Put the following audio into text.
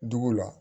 Dugu la